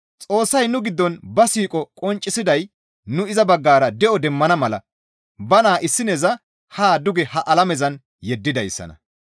Xoossay nu giddon ba siiqo qonccisiday nu iza baggara de7o demmana mala ba naa issineza haa duge ha alamezan yeddidayssana.